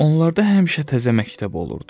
Onlarda həmişə təzə məktəb olurdu.